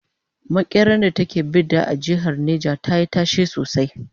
makeran da ta ke Bida a jehar neja tayi tashe sosai